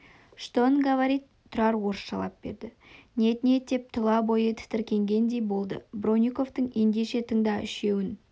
что он говорит тұрар орысшалап берді нет-нет деп тұла бойы тітіркенгендей болды бронниковтың ендеше тыңда үшеуін